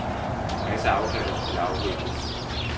En masse aftaler skulle afvikles.